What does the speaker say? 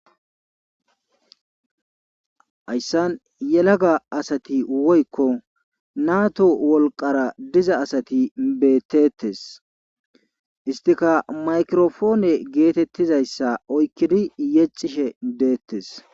Hayssan yelaga asati woykko natto wolqqara diza asati beetetes. histikka maykirapone gizassa oyqqidi yexishe deetees.